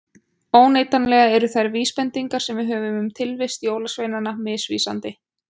Óneitanlega eru þær vísbendingar sem við höfum um tilvist jólasveinanna misvísandi.